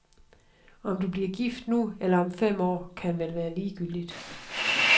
Om du bliver gift nu eller om fem år kan vel være ligegyldigt.